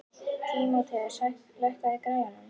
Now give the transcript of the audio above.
Tímoteus, lækkaðu í græjunum.